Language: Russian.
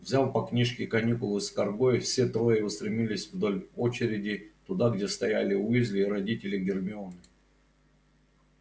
взяв по книжке каникулы с каргой все трое устремились вдоль очереди туда где стояли уизли и родители гермионы